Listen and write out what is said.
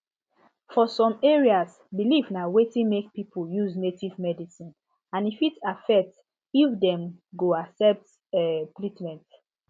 for some areas belief na wetin make people use native medicine and e fit affect if dem go accept um treatment